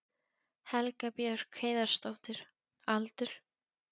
Helga Björk Heiðarsdóttir Aldur?